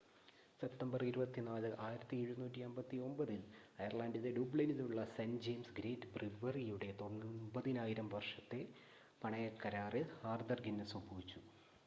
September 24 1759 ൽ അയർലണ്ടിലെ ഡ്യൂബ്ലിനിലുള്ള സെൻ്റ് ജയിംസ് ഗേറ്റ് ബ്രിവറിയുടെ 9,000 വർഷത്തെ പണയക്കരാറിൽ ആർതർ ഗിന്നസ് ഒപ്പുവെച്ചു